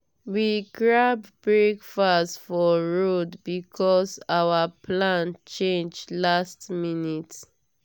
we grab breakfast for road because our plan change last minute.